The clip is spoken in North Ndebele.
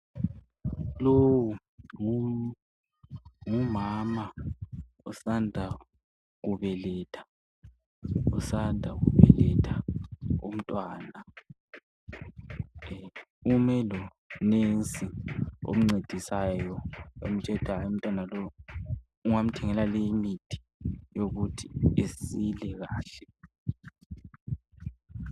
Lowu ngumama osanda kubeletha umntwana ume lomongikazi omncedisayo emtshela ukuthi hayi umntwana lo ungamthengela leyi mithi yokuthi esile kahle.